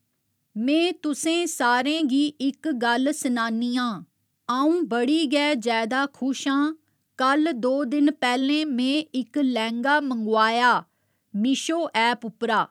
में तुसें सारें गी इक गल्ल सनान्नी आं अ'ऊं बडी गै जैदा खुश आं कल दो दिन पैहलें में इक लैहंगा मंगोआएआ मिशो ऐप उप्परा